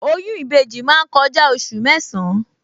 Oyún ìbejì máa ń kọjá oṣù mẹ́san-án